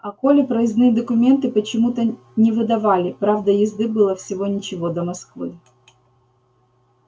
а коле проездные документы почему-то не выдавали правда езды было всего ничего до москвы